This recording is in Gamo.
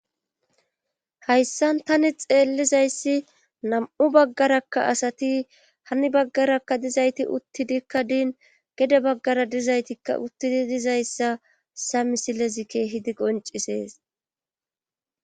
hayssan tani xeellizayssi nam7u baggarakka asati hanni baggarakka dizayti uttidikka diin gede baggara dizaytikka uttidi dizayssa sa misilezikke hidi qoncisees